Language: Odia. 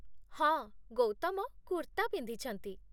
ହଁ, ଗୌତମ କୁର୍ତ୍ତା ପିନ୍ଧିଛନ୍ତି ।